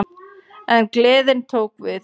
En gleðin tók við.